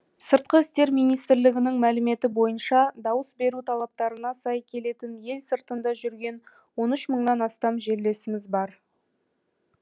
сыртқы істер министрлігінің мәліметі бойынша дауыс беру талаптарына сай келетін ел сыртында жүрген он үш мыңнан астам жерлесіміз бар